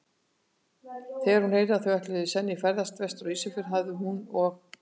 Þegar hún heyrði, að þau ætluðu senn í ferðalag vestur á Ísafjörð, hafi hún og